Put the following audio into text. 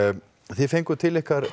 þið fenguð til ykkar